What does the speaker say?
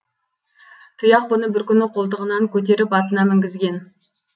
тұяқ бұны бір күні қолтығынан көтеріп атына мінгізген